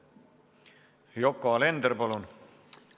Yoko Alender, palun!